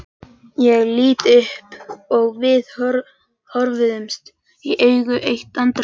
Ég lít upp og við horfumst í augu eitt andartak.